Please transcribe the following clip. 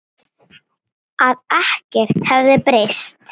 Að ekkert hefði breyst.